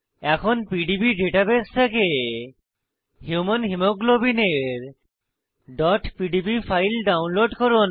এখন PDB database থেকে human হিমোগ্লোবিলের pdb ফাইল ডাউনলোড করুন